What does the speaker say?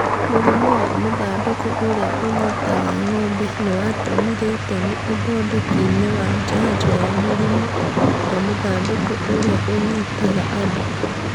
Mũrimũwa mũthandũkũũrĩa ũnyitaga ng'ombe nĩwatemire itemi ũthondeki-inĩ wa njanjo ya mũrimũwa mũthandũkũũrĩa ũnyitaga andũ